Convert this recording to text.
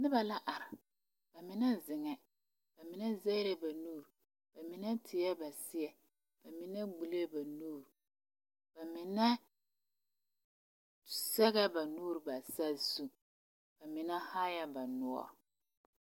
Noba la are ba mine zeŋɛɛ ba mine sɛgɛɛ ba nuure ba mine tie ba seɛ ba mine gbulee ba nuure ba mine sɛgɛɛ ba nuure bare saa zuba mine haar ba noɔre